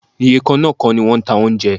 Iye kan náà kọ́ ni wọ́n ń ta oúnjẹ.